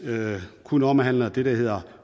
kun omhandler det der hedder